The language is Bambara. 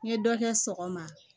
N ye dɔ kɛ sɔgɔma